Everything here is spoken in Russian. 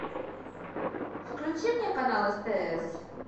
включи мне канал стс